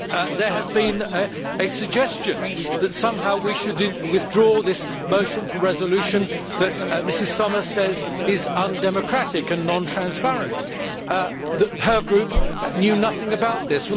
There has been a suggestion that somehow we should withdraw this motion for resolution that Mrs Sommer says is undemocratic and non transparent that her group knew nothing about this.